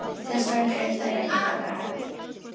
Þessvegna eru þær ekkert annað en blekking.